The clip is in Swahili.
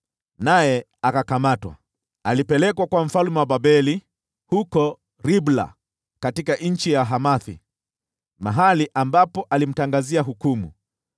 naye akakamatwa. Akapelekwa kwa mfalme wa Babeli huko Ribla, katika nchi ya Hamathi, mahali ambapo alimtangazia hukumu.